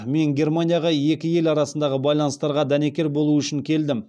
мен германияға екі ел арасындағы байланыстарға дәнекер болу үшін келдім